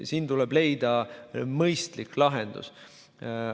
Siin tuleb leida mõistlik lahendus.